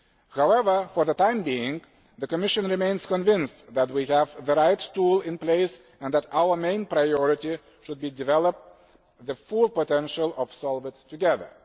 However, for the time being, the Commission remains convinced that we have the right tool in place and that our main priority should be to develop the full potential of SOLVIT together.